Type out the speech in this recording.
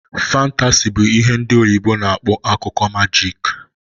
Fantasi bụ ihe ndị oyibo na akpọ akụkọ majik